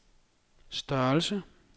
størrelse